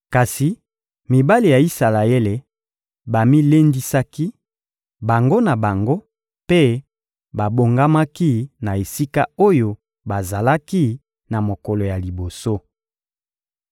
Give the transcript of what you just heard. Kasi mibali ya Isalaele bamilendisaki, bango na bango, mpe babongamaki na esika oyo bazalaki na mokolo ya liboso.